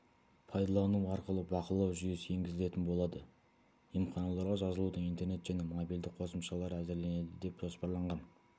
пайдалану арқылы бақылау жүйесі енгізілетін болады емханаларға жазылудың интернет және мобильді қосымшалары әзірленеді деп жоспарланған